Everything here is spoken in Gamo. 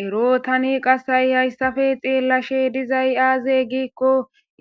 Eroo thani ha7isafe xeellashe dizay aazee giikko